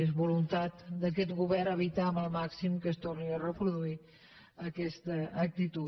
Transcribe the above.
és voluntat d’aquest govern evitar al màxim que es torni a reproduir aquesta actitud